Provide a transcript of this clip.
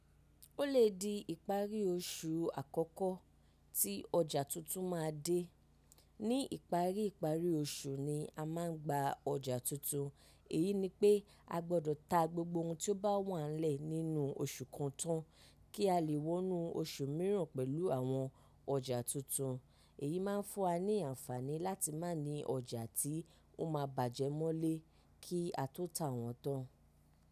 Ó lè di ìparí oṣù àkọ́kọ́ tí ọjà tuntun ma dé. Ní ìparí ìparí oṣù ni a ma ń gba ọjà tuntun. Èyí ni pé a gbọ́dọ̀ ta gbogbo ohun tí ó bá wà lẹ́ nínú oṣù kan tán kí a lè wọnú oṣù mìíràn pẹ̀lú àwọn ọjà tuntun. Èyí máa ń fún wa ní àǹfààní láti má ní ọjà tí ó máa bàjẹ́ mọ́lé kí a tó tà wọ́n tán.